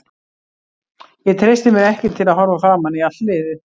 Ég treysti mér ekki til að horfa framan í allt liðið.